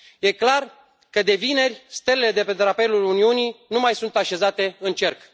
Este clar că, de vineri, stelele de pe drapelul Uniunii nu mai sunt așezate în cerc.